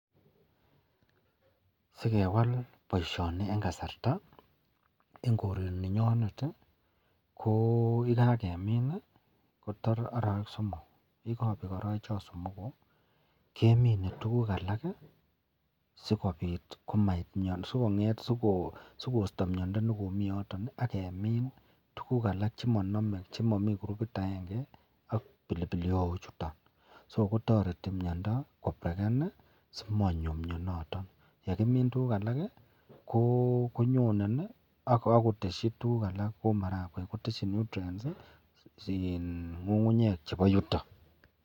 Sekewal baishoni en kasarta en koraninyonet koyikakemin kotar arawek somok yikabek arawek somok kemine tuguk alak sikobit komait Mian sikoisto miando nikimiten yoton agemin tugug alak chenamegei chemamii gurubit agenge ak pilipili hoho chuton so kotareti miando kobreken simanyo mianiton aknyekimin tuguk alak konyonen akoteshi tuguk alak Kou marakwek kiteshin nutrients ngungunyek chebo yuton